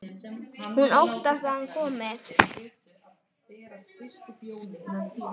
Hún óttast að hann komi.